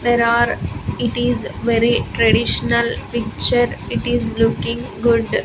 There are it is very traditional picture it is looking good.